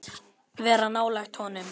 Vera nálægt honum?